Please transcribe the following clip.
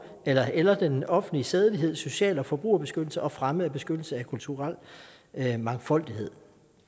eller eller den offentlige sædelighed social eller forbrugerbeskyttelse og fremme og beskyttelse af den kulturelle mangfoldighed